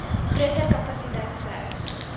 groter kapasiteit sou